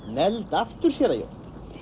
negld aftur séra Jón